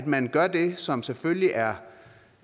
man gør det som selvfølgelig er